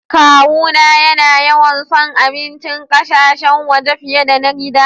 Kawu na ya na yawan son abincin ƙasashen waje fiyar da na gida.